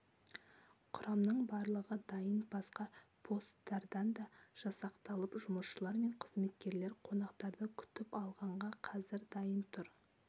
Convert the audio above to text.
құрамның барлығы дайын басқа посттардан да жасақталып жұмысшылар мен қызметкерлер қонақтарды күтіп алғанға қазір дайын тұр